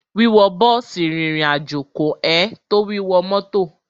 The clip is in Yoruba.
Wíwọ bọ́ọ̀sì rìnrìn àjò kò ẹn tó wíwọ mọ́tọ̀.